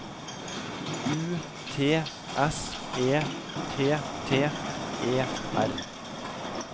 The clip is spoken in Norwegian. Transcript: U T S E T T E R